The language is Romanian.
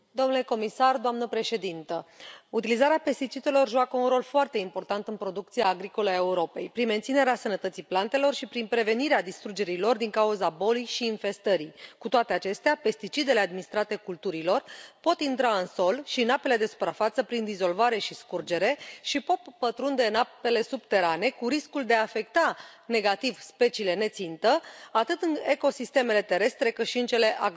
Doamnă președintă, domnule comisar, utilizarea pesticidelor joacă un rol foarte important în producția agricolă a Europei prin menținerea sănătății plantelor și prin prevenirea distrugerii lor din cauza bolii și infestării. Cu toate acestea, pesticidele administrate culturilor pot intra în sol și în apele de suprafață prin dizolvare și scurgere și pot pătrunde în apele subterane, cu riscul de a afecta negativ speciile ne țintă atât în ecosistemele terestre, cât și în cele acvatice.